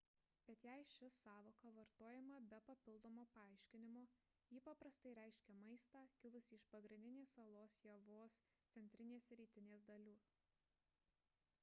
bet jei ši sąvoka vartojama be papildomo paaiškinimo ji paprastai reiškia maistą kilusį iš pagrindinės salos javos centrinės ir rytinės dalių